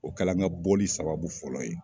O kalan ka bɔli sababu fɔlɔ ye